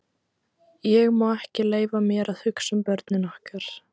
Ég má ekki leyfa mér að hugsa um börnin okkar.